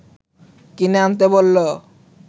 কিনে আনতে বলল